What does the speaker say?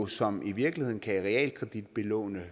som jo i virkeligheden kan realkreditbelåne